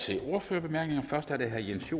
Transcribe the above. til ordførertalerne først er det herre jens